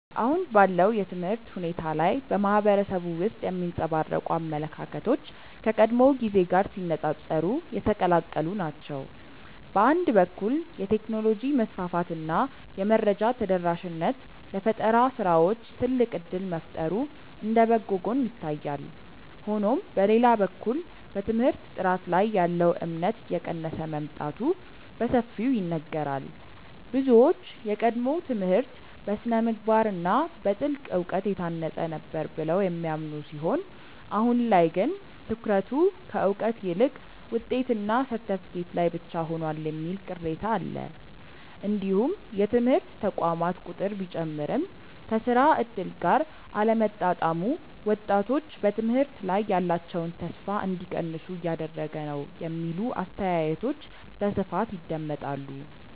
አሁን ባለው የትምህርት ሁኔታ ላይ በማህበረሰቡ ውስጥ የሚንጸባረቁ አመለካከቶች ከቀድሞው ጊዜ ጋር ሲነፃፀሩ የተቀላቀሉ ናቸው። በአንድ በኩል የቴክኖሎጂ መስፋፋት እና የመረጃ ተደራሽነት ለፈጠራ ስራዎች ትልቅ እድል መፍጠሩ እንደ በጎ ጎን ይታያል። ሆኖም በሌላ በኩል በትምህርት ጥራት ላይ ያለው እምነት እየቀነሰ መምጣቱ በሰፊው ይነገራል። ብዙዎች የቀድሞው ትምህርት በስነ-ምግባር እና በጥልቅ እውቀት የታነጸ ነበር ብለው የሚያምኑ ሲሆን አሁን ላይ ግን ትኩረቱ ከእውቀት ይልቅ ውጤትና ሰርተፍኬት ላይ ብቻ ሆኗል የሚል ቅሬታ አለ። እንዲሁም የትምህርት ተቋማት ቁጥር ቢጨምርም ከስራ እድል ጋር አለመጣጣሙ ወጣቶች በትምህርት ላይ ያላቸውን ተስፋ እንዲቀንሱ እያደረገ ነው የሚሉ አስተያየቶች በስፋት ይደመጣሉ።